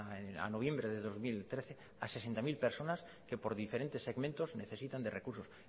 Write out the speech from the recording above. a noviembre de dos mil trece a sesenta mil personas que por diferentes segmentos necesitan de recursos